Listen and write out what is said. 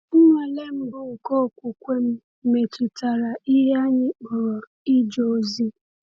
Nnwale mbụ nke okwukwe m metụtara ihe anyị kpọrọ ije ozi.